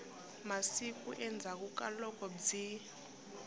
masiku endzhaku ka loko byi